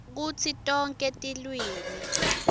kutsi tonkhe tilwimi